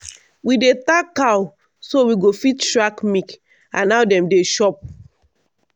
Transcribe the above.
we dey tag cow so we go fit track milk and how dem dey chop.